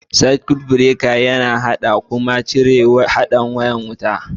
Circuts breaker yana haɗa kuma cire haɗin wucewan wuta.